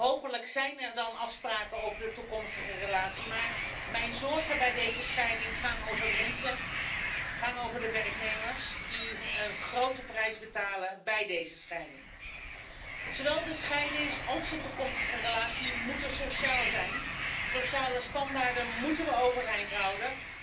Hopelijk zijn er dan afspraken over de toekomstige relatie, maar mijn zorgen bij deze scheiding gaan over mensen, over de werknemers die een grote prijs betalen bij deze scheiding. Zowel de scheiding als de toekomstige relatie moeten sociaal zijn. Sociale standaarden moeten we overeind houden.